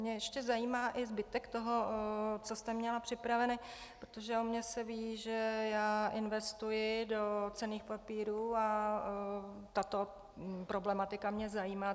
Mě ještě zajímá i zbytek toho, co jste měla připravený, protože o mně se ví, že já investuji do cenných papírů, a tato problematika mě zajímá.